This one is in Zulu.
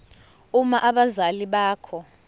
uma abazali bakho